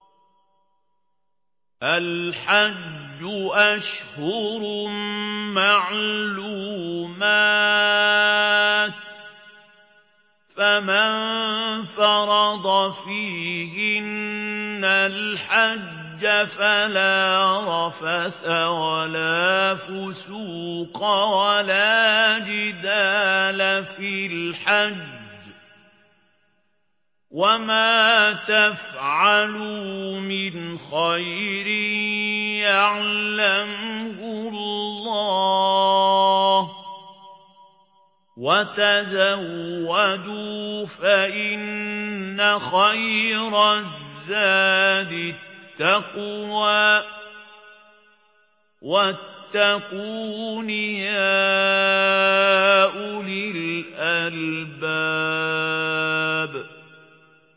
الْحَجُّ أَشْهُرٌ مَّعْلُومَاتٌ ۚ فَمَن فَرَضَ فِيهِنَّ الْحَجَّ فَلَا رَفَثَ وَلَا فُسُوقَ وَلَا جِدَالَ فِي الْحَجِّ ۗ وَمَا تَفْعَلُوا مِنْ خَيْرٍ يَعْلَمْهُ اللَّهُ ۗ وَتَزَوَّدُوا فَإِنَّ خَيْرَ الزَّادِ التَّقْوَىٰ ۚ وَاتَّقُونِ يَا أُولِي الْأَلْبَابِ